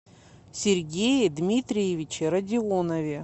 сергее дмитриевиче радионове